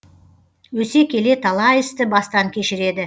өсе келе талай істі бастан кешіреді